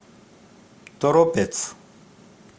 торопец